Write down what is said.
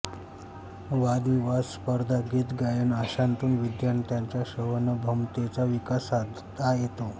वादविवाद स्पर्धा गीत गायन अशांतून विद्यार्थ्यांच्या श्रवणभमतेचा विकास साधता येतो